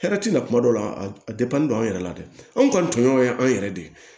Hɛrɛ ti na kuma dɔw la a don an yɛrɛ la dɛ anw kɔni tɔɲɔgɔn ye an yɛrɛ de ye